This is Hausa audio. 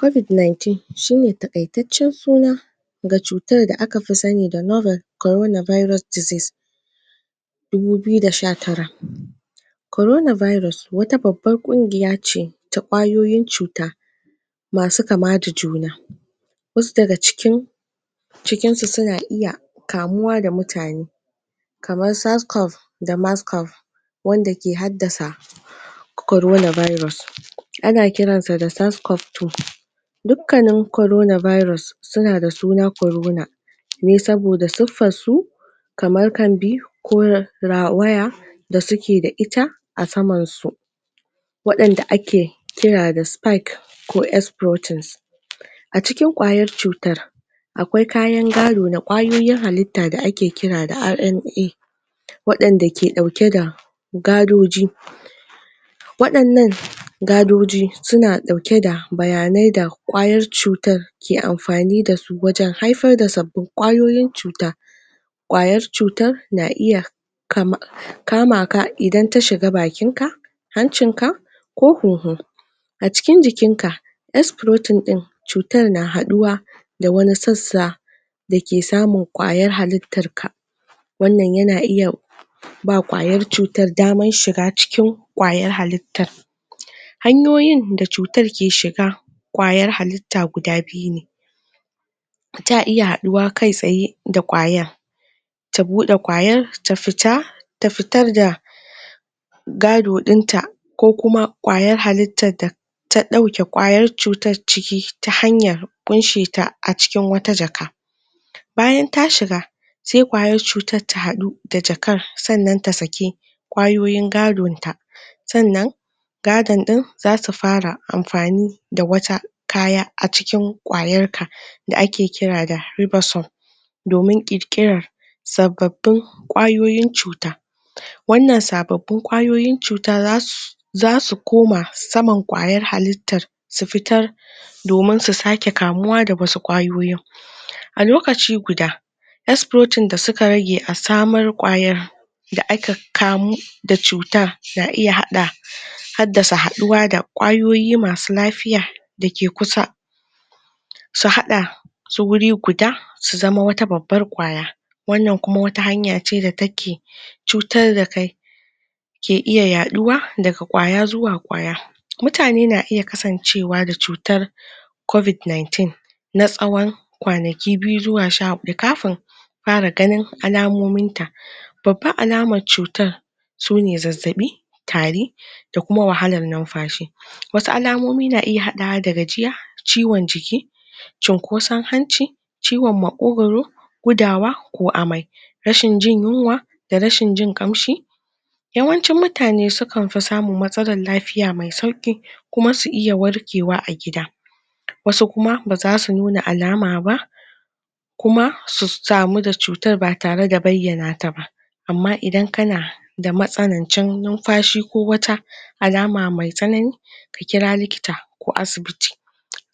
Covid 19 shi ne takaittacen suna ga cutar da aka fi sani Corona virus disease dubu biyu da sha tara Corona virus, wata babban kungiya ce ta kwayyoyin cuta masu kama da juna wasu daga cikin cikin su suna iya kamuwa da mutane da wanda ke haddasa corona virus ana kiran sa da corona virus suna da suna corona ne saboda kaman waya da suke da ita a saman su wadanda ake ko A cikin kwayar cutar akwai kayan gado da kwayoyin halita da ake kira da wadanda ka dauka da gadoji Wadannan gadoji, suna dauke da bayanai da kwayar cuta ke amfani da su wajen haifar da sabbin kwayoyin cuta kwayar cutan na iya kam, kama ka idan ta shiga bakin ka, hanchin ka, ko a cikin jikin ka din cutan na haduwa da wani dake samun kwayan halitar ka wannan yana iya ba kwayar cutar daman shiga cikin kwayar halitar. Hanyoyin da cutar ke shiga kwayar halita guda biyu ne iya haduwa da kai tsaye d kwwayar ta bude kwayar ta fita ta fitar da gado din ta ko kuma kwayar halitar da ta dauke kayar cutar ciki ta hanyar kunsheta a cikin wata jak Bayan ta shiga, sai kwayar cutan ta hadu da jakar sannan ta sake kwayoyin gadon ta sannan gado din za su fara amfani da wata kaya a cikin kwayar ka da ake kira da domin sabbabin kwayoyin cuta Wannan sabobin kwayoyin cuta za zasu koma kwayar halita su fitar domin su sake kamuwa da wasu kwayoyin. A lokaci guda da suka rage a samar kwayar da aka kamu da cutar na iya hada Haddasa haduwa da kwayoyi masu lafiya dake kusa su hada su wuri guda, su zama wata babbar kwaya wannan kuma wata hanya ce da take cutar da kai ke iya yaduwa da kwaya zuwa kwaya Mutani na iya kasancewa da cutar covid nineteen na tsowon kwanaki biyu zuwa sha fara ganin al'amomin ta. Babban alamar cutan, sune zazzabi, tari, da kuma wahalan numfashi. Wasu lamomi na iya hadawa da gajiya, ciwon jiki, cinkosan hanci ciwon makokoro, gudawa ko amai, rashin jin yunwa da rashin jin kamshi, Yawancin mutane sukan fi samun matsalan lafiya me sauki kuma su iya warkewa a gida wasu kuma ba zasu nuna alama ba kuma su samu da cutan tare da bayyana ta ba amma idan kana da matsalan jan numfashi ko wata alama me tsanani ka kira likita ko asibiti